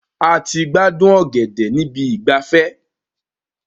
A ti gbádùn ọ̀gẹ̀dẹ̀ níbi ìgbafẹ́.